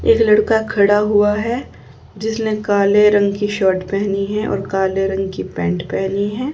एक लड़का खड़ा हुआ है जिसने काले रंग की शर्ट पहनी है और काले रंग की पैंट पहनी है।